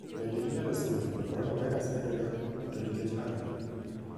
Bende inyalo somo: Coronavirus medore, to nikech ang'o?